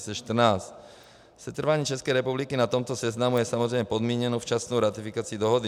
Setrvání České republiky na tomto seznamu je samozřejmě podmíněno včasnou ratifikací dohody.